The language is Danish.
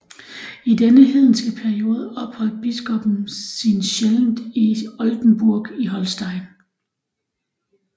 I denne hedenske periode opholdt biskoppen sin sjældent i Oldenburg in Holstein